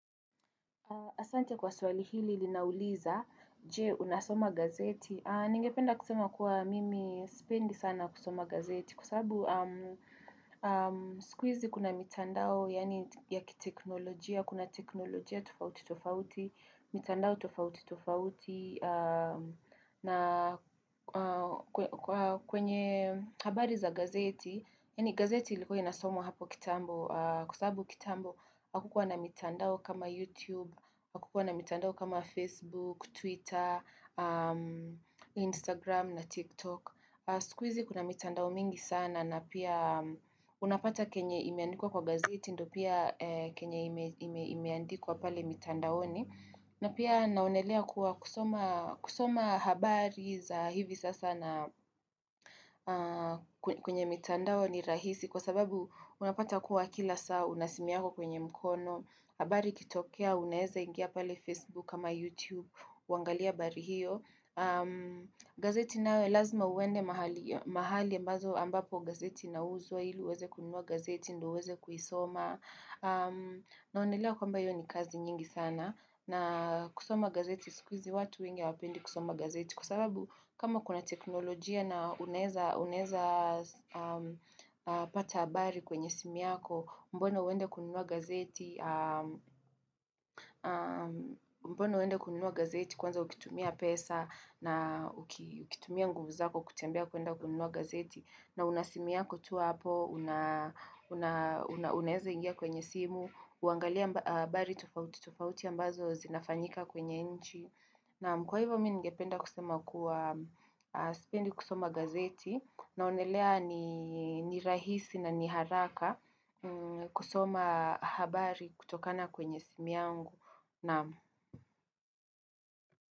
Asante kwa swali hili ilinauliza, je unasoma gazeti. Ningependa kusema kuwa mimi spendi sana kusoma gazeti kua sababu sikuizi kuna mitandao ya kiteknolojia. Kuna teknolojia tofauti tofauti, mitandao tofauti tofauti na kwenye habari za gazeti. Yani gazeti ilikuwa inasomwa hapo kitambo, kwa sabu kitambo, akukwa na mitandao kama YouTube, akukwa na mitandao kama Facebook, Twitter, Instagram na TikTok. Skuizi kuna mitandao mingi sana na pia unapata kenye imeandikuwa kwa gazeti ndo pia kenye imeandikuwa pale mitandaoni. Na pia naonelea kuwa kusoma habari za hivi sasa na kwenye mitandao ni rahisi kwa sababu unapata kuwa kila saa una simu yako kwenye mkono habari kitokea unaeza ingia pale Facebook kama YouTube wangalia habari hiyo gazeti nawe lazima uende mahali ambazo ambapo gazeti inauzwa ili uweze kunua gazeti ndo uweze kuisoma naonelea kwamba hiyo ni kazi nyingi sana na kusoma gazeti sikwizi watu wengi hawapendi kusoma gazeti kusababu kama kuna teknolojia na uneza pata habari kwenye simu yako mbona uende kununua gazeti mbona uende kununua gazeti kwanza ukitumia pesa na ukitumia nguvuzako kutembea kuenda kuuinua gazeti na unasimu yako tuwa hapo, uneza ingia kwenye simu uangalia habari tofauti, tofauti ambazo zinafanyika kwenye inchi. Nam kwa hivyo minigependa kusema kuwa spendi kusoma gazeti naonelea ni rahisi na ni haraka kusoma habari kutokana kwenye simu yangu.